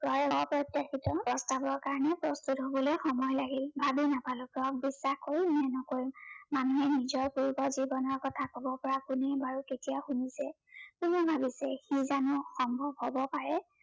জয়ৰ অপ্ৰত্য়াশিত প্ৰস্তাৱৰ কাৰনে প্ৰস্তুত হবলৈ সময় লাগিল। ভাবি নাপালো জয়ক বিশ্বাস কৰিম নে নকৰিম। মানুহে নিজৰ পূৰ্ব জীৱনৰ কথা কব পৰা কোনে বাৰু কেতিয়া শুনিছে, কোনে ভাবিছে, সি জানো সম্ভৱ হব পাৰে।